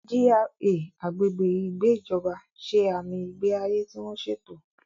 GRA (Agbègbè Ìgbé Ìjọba) ṣe àmì ìgbé ayé tí wọ́n ṣètò.